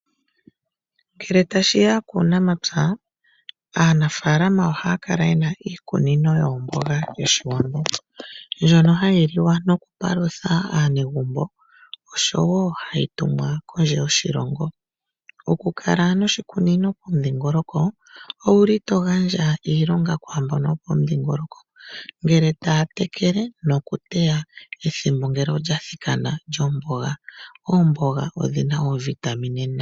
Ngele ta shiya kunamapya , aanafalama oha kala yena iikunino yawo yoomboga yoshiwambo mbwono hayi liwa noku palutha anegumbo oshowo hayi tumwa kondje yoshilongo. Oku kala noshikunino pomudhingoloko owuli to gandja iilonga kwa mbono yopomudhingoloko ngele tatekele nokuteya. Ehimbo ngele olya thikana lyomboga ,oomboga odhina ovitamine nayi